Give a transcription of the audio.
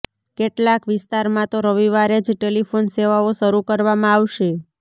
કેટલાક વિસ્તારમાં તો રવિવારે જ ટેલિફોન સેવાઓ શરૂ કરવામાં આવશે